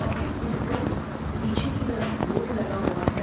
Public school पीछे की तरफ बोर्ड लगा हुआ है।